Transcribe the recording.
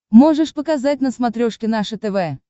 можешь показать на смотрешке наше тв